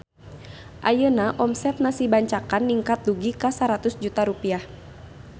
Ayeuna omset Nasi Bancakan ningkat dugi ka 100 juta rupiah